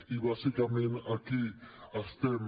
i bàsicament aquí estem